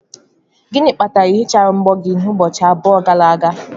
Gịnị kpatara na ị hichaghị mbọ gị ụbọchị abụọ gara aga?